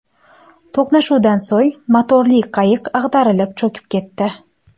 To‘qnashuvdan so‘ng motorli qayiq ag‘darilib, cho‘kib ketdi.